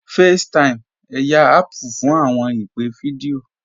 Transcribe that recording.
FaceTime, ẹyà Apple fún awọn ìpè̩ fídíọ̀